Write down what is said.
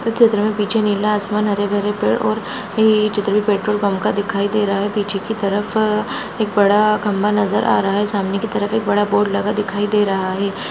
इस चित्र मे पीछे नीला आसमान हरे भेरे पेड़ और ये चित्र भी पेट्रोल पंप का दिखाई दे रहा है पीछे की तरफ एक बड़ा खंबा नजर आ रहा है सामने की तरफ एक बड़ा बोर्ड लगा दिखाई दे रहा है।